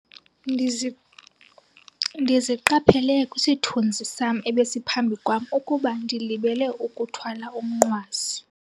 Ndizi ndiziqaphele kwisithunzi sam ebesiphambi kwam ukuba ndilibele ukuthwala umnqwazi.